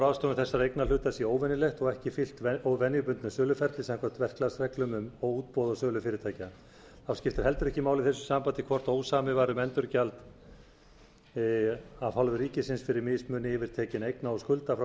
ráðstöfun þessara eignarhluta sé óvenjulegt og ekki fylgt venjubundnu söluferli samkvæmt verklagsreglum um útboð á sölu fyrirtækja þá skiptir heldur ekki máli í þessu sambandi hvort ósamið var um endurgjald af hálfu ríkisins fyrir mismuni yfirtekinna eigna og skulda frá